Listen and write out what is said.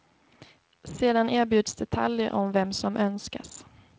Sedan erbjuds detaljer om vem som önskas.